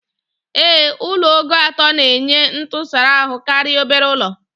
Ee, Ụlọ ogo atọ na-enye ntụsara ahụ karịa obere ụlọ